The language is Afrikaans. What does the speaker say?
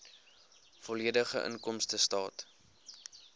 volledige inkomstestaat